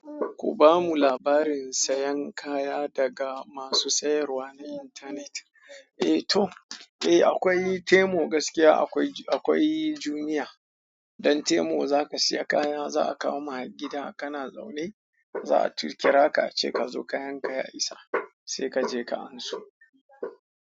Ku ba mu labarin sayan kaya daga masu sayarwa na internet. Eh to, eh akwai Taimo gaskiya akwai, akwai Jumia. Don Taimo za ka saya kaya za a kawo ma gida kana zaune. Za a tu kira ka ace ka zo kayan ka ya isa sai ka je ka anso.